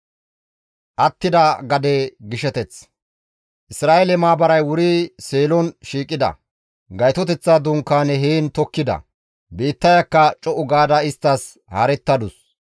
Isra7eele maabaray wuri Seelon shiiqida; Gaytoteththa Dunkaane heen tokkida; biittayakka co7u gaada isttas haarettadus.